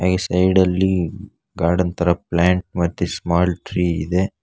ಈ ಸೈಡ ಲ್ಲಿ ಗಾರ್ಡನ್ ತರ ಪ್ಲಾಂಟ್ ಮತ್ತೆ ಸ್ಮಾಲ್ ಟ್ರೀ ಇದೆ.